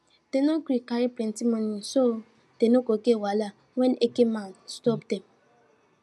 dem no gree carry plenty monie so dem no go get wahala wen eke men stop dem